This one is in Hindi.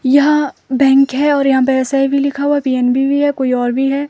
यहां बैंक है और यहां पर एस_आई_बी लिखा हुआ पी_एन_बी भी है कोई और भी है।